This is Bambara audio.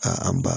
Ka an ba